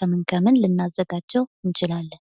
ከምን ከምን ልናዘጋጀው እንችላለን።